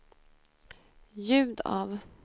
ljud av